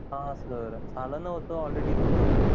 हा sir झालं नव्हतं all ready होत